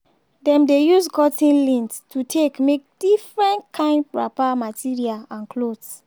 dem dey use cotton lint to take make different kind wrapper material and clothes.